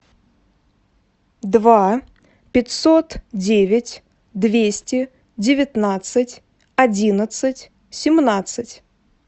два пятьсот девять двести девятнадцать одиннадцать семнадцать